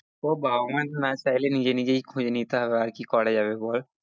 ও বাবা মা না চাইলে নিজে নিজে খুঁজে নিতে হবে আর কি করা যাবে বল